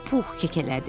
Pux kekələdi.